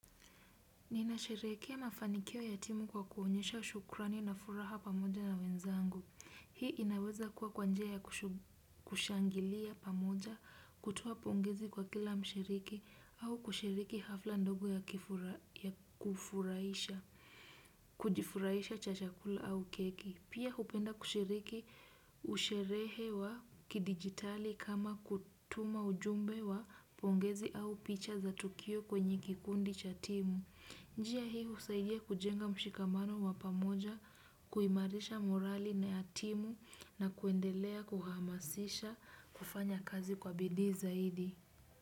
Ninasherehekea mafanikio ya timu kwa kuonyesha shukurani na furaha pamoja na wenzangu. Hii inaweza kuwa kwa njia ya kushangilia pamoja kutoa pongezi kwa kila mshiriki au kushiriki hafla ndogo ya kufurahisha, kujifurahisha cha chakula au keki. Pia hupenda kushiriki usherehe wa kidigitali kama kutuma ujumbe wa pongezi au picha za tukio kwenye kikundi cha timu. Njia hii husaidia kujenga mshikamano wa pamoja kuimarisha morali ya timu na kuendelea kuhamasisha kufanya kazi kwa bidii.